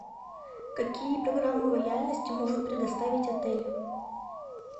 какие программы лояльности может предоставить отель